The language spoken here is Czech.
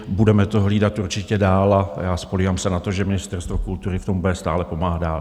Budeme to hlídat určitě dál a já spoléhám se na to, že Ministerstvo kultury v tom bude stále pomáhat dál.